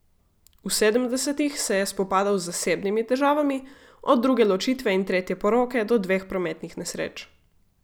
V sedemdesetih se je spopadal z zasebnimi težavami, od druge ločitve in tretje poroke do dveh prometnih nesreč.